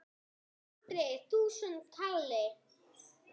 Andri: Þúsund kalli?